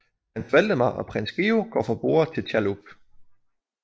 Prins Valdemar og prins Georg går fra borde til chalup